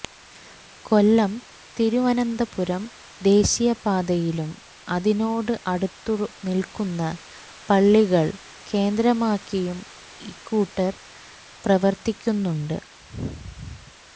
കൊല്ലം തിരുവനന്തപുരം ദേശീയപാതയിലും അതിനോട് അടുത്തുനില്ക്കുന്ന പള്ളികള് കേന്ദ്രമാക്കിയും ഇക്കൂട്ടര് പ്രവര്ത്തിക്കുന്നുണ്ട്